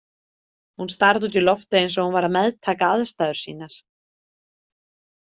Hún starði út í loftið, eins og hún væri að meðtaka aðstæður sínar.